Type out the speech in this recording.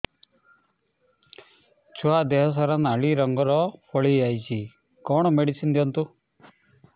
ଛୁଆ ଦେହ ସାରା ନାଲି ରଙ୍ଗର ଫଳି ଯାଇଛି କଣ ମେଡିସିନ ଦିଅନ୍ତୁ